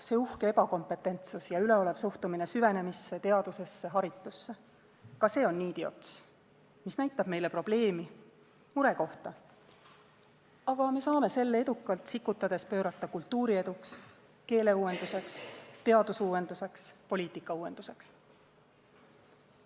See uhke ebakompetentsus ja üleolev suhtumine süvenemisse, teadusesse, haritusse – ka see on niidiots, mis näitab meile probleemi, murekohta, aga me saame selle edukalt sikutades pöörata kultuurieduks, keeleuuenduseks, teadusuuenduseks, poliitikauuenduseks.